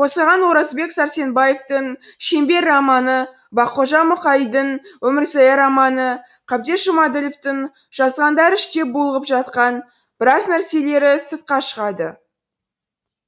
қозғаған оразбек сәрсенбаевтың шеңбер романы баққожа мұқаидың өмірзая романы қабдеш жұмаділовтің жазғандары іште булығып жатқан біраз нәрселері сыртқа шығады